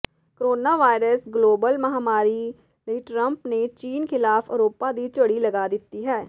corona virus global ਮਹਾਮਾਰੀ ਲਈ Trump ਨੇ ਚੀਨ ਖਿਲਾਫ ਅਰੋਪਾਂ ਦੀ ਝੜੀ ਲਗਾ ਦਿੱਤੀ ਹੈ